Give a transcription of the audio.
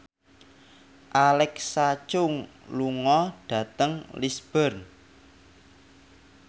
Alexa Chung lunga dhateng Lisburn